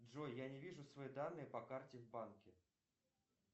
джой я не вижу свои данные по карте в банке